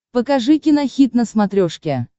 покажи кинохит на смотрешке